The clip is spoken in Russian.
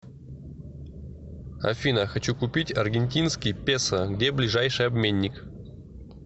афина хочу купить аргентинский песо где ближайший обменник